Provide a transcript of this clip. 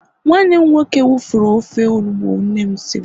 nwanne m nwoke wufurru ofe onugbu nnem Siri